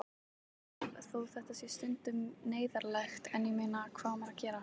Þó þetta sé stundum neyðarlegt en ég meina, hvað á maður að gera?